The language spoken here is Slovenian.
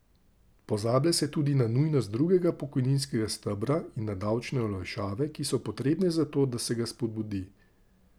Pozablja se tudi na nujnost drugega pokojninskega stebra in na davčne olajšave, ki so potrebne za to, da se ga spodbudi.